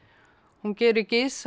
hún gerir gys að